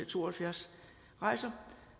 to og halvfjerds rejser